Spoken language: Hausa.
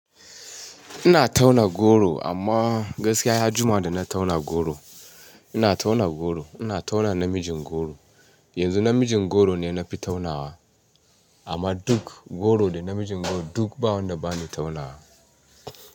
Ina tauna goro amma gaskiya ya jima da na tauna goro. Ina tauna goro, ina tauna namijin goro. Yanzu namijin goro ne na fi taunawa amma duk goro da namijin goro duk ba wanda ba ni taunawa.